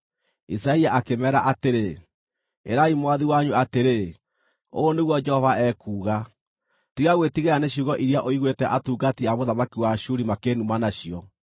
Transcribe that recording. Isaia akĩmeera atĩrĩ, “Ĩrai mwathi wanyu atĩrĩ, ‘Ũũ nĩguo Jehova ekuuga: Tiga gwĩtigĩra nĩ ciugo iria ũiguĩte atungati a mũthamaki wa Ashuri makĩĩnuma nacio.